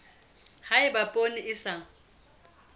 ha eba poone e sa